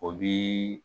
O bi